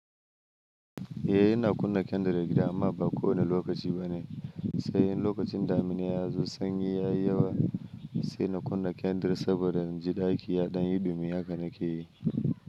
Eh, ina kunna kendir a gida amma ba kowane lokaci ba ne. Sai in lokacin damina ya zo sanyi ya yi yawa sai na kunna kendir saboda in ji ɗaki ya ɗan yi ɗumi haka nake yi.